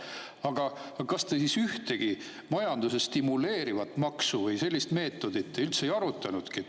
Aga kas te siis ühtegi majandust stimuleerivat maksu või sellist meetodit üldse ei arutanudki?